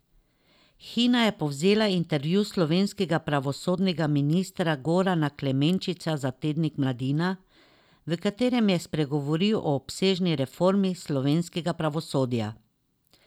Hina je povzela intervju slovenskega pravosodnega ministra Gorana Klemenčiča za tednik Mladina, v katerem je spregovoril o obsežni reformi slovenskega pravosodja.